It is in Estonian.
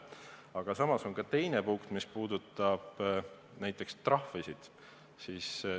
Aga samas on ka teine punkt, mis puudutab trahve.